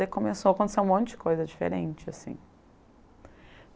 Daí começou a acontecer um monte de coisa diferente, assim.